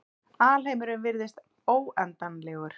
Alheimurinn virðist óendanlegur.